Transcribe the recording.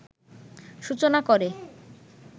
সূচনা করে